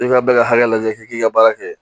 I ka bɛɛ ka hakɛ lajɛ f'i k'i ka baara kɛ